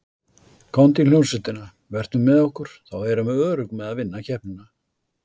Komdu í hljómsveitina, vertu með okkur, þá erum við örugg með að vinna keppnina.